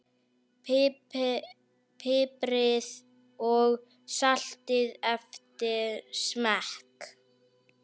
Piprið og saltið eftir smekk.